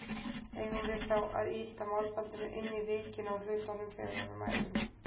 Eigum við þá að ýta málbandinu inn í vikin á hlutnum þegar við mælum?